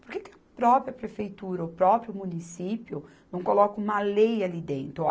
Por que que a própria prefeitura, o próprio município não coloca uma lei ali dentro?